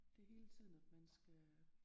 Det er hele tiden at man skal